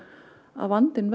að vandinn